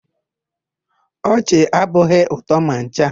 Ọchị abụghị ụtọ ma ncha.